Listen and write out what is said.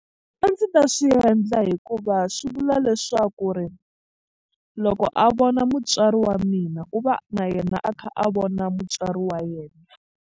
A ndzi ta swi endla hikuva swi vula leswaku ri loko a vona mutswari wa mina u va na yena a kha a vona mutswari wa yena.